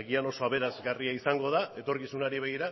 agian oso aberasgarria izango da etorkizunari begira